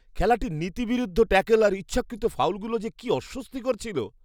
খেলাটির নীতিবিরুদ্ধ ট্যাকল আর ইচ্ছাকৃত ফাউলগুলো যে কী অস্বস্তিকর ছিল।